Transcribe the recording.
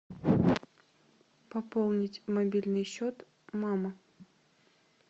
пополнить мобильный счет мама